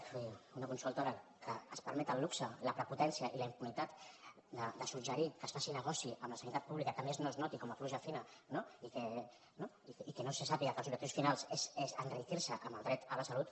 vull dir una consultora que es permet el luxe la prepotència i la impunitat de suggerir que es faci negoci amb la sanitat pública que a més no es noti com pluja fina no i que no se sàpiga que els objectius finals són enriquir se amb el dret a la salut